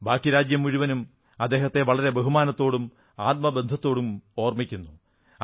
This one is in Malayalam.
ബാക്കി രാജ്യം മുഴുവനും അദ്ദേഹത്തെ വളരെ ബഹുമാനത്തോടും ആത്മബന്ധത്തോടും ഓർമ്മിക്കുന്നു